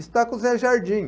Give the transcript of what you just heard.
Está com o Zé Jardim.